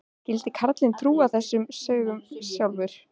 Skyldi karlinn trúa þessum sögum sjálfur?